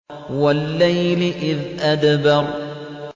وَاللَّيْلِ إِذْ أَدْبَرَ